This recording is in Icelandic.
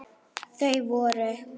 Þau voru